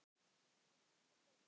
Á fullu kaupi.